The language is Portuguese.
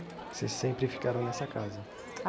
Vocês sempre ficaram nessa casa?